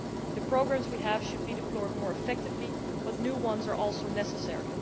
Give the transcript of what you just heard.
The programmes we have should be deployed more effectively, but new ones are also necessary.